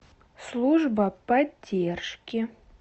служба поддержки